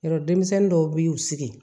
Yɔrɔ denmisɛnnin dɔw b'i sigi